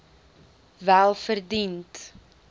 welverdiend